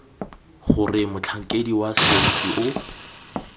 gore motlhankedi wa sepodisi o